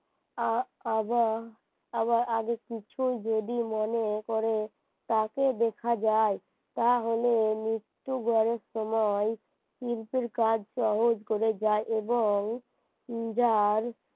আবার আবার আগের কিছুই যদি মনে করে তাকে দেখা যায় তাহলে মৃত্যু আমায় কিন্তু কাজ সহজ করে যায় এবং যার